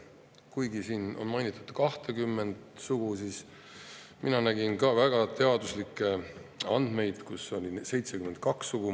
Kuigi siin on mainitud 20 sugu, siis mina nägin väga teaduslikke andmeid, kus oli 72 sugu.